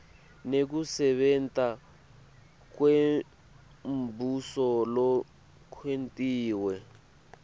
nekusebenta kwembuso lokwentiwe